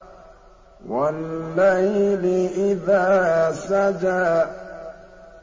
وَاللَّيْلِ إِذَا سَجَىٰ